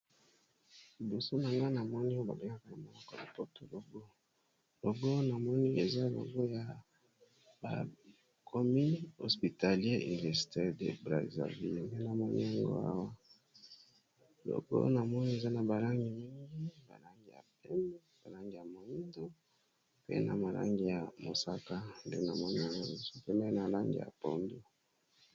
Liboso nangai oyo ba bengaka yango na monoko ya lopoto logo, eza logo bakomi centre hospitalier universitaire de Brazzaville eza na ba langi mingi pembe, moyindo, mosaka pe na pondu .